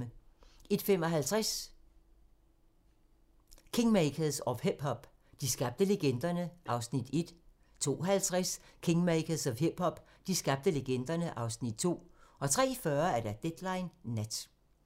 01:55: Kingmakers of hip-hop - de skabte legenderne (Afs. 1) 02:50: Kingmakers of hip-hop - de skabte legenderne (Afs. 2) 03:40: Deadline Nat